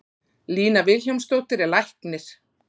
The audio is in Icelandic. Lína Vilhjálmsdóttir er læknir.